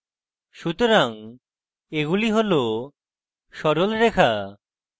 সুতরাং এগুলি সরল রেখা